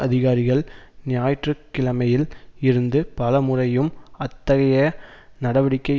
அதிகாரிகள் ஞாயிற்று கிழமையில் இருந்து பல முறையும் அத்தகைய நடவடிக்கை